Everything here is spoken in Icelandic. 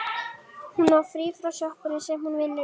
Hún á frí frá sjoppunni sem hún vinnur í.